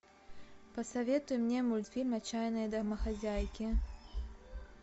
посоветуй мне мультфильм отчаянные домохозяйки